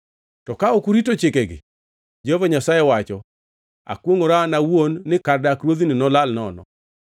To ka ok urito chikegi, Jehova Nyasaye wacho, akwongʼora an owuon ni kar dak ruodhni nolal nono.’ ”